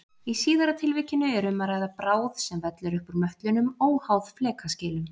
Í síðara tilvikinu er um að ræða bráð sem vellur upp úr möttlinum óháð flekaskilum.